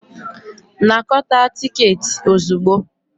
Anakọta tiketi ozugbo.